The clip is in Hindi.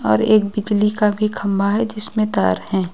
और एक बिजली का भी खंभा है जिसमें तार है।